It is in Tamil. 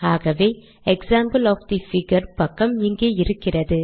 ஆகவே எக்ஸாம்பிள் ஒஃப் தே பிகர் பக்கம் இங்கே இருக்கிறது